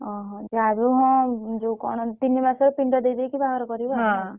ଓହୋ ଯାହା ବି ହଉ ହଁ ଯୋଉ କଣ ତିନି ମାସ ରେ ପିଣ୍ଡ ଦେଇ ଦେଇ କି ବହାଘର କରିବ ଆଉ। ହଁ।